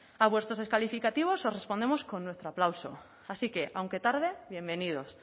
a vuestros descalificativos os respondemos con nuestro aplauso así que aunque tarde bienvenidos